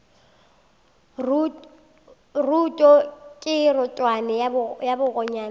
roto ke rotwane ya bakgonyana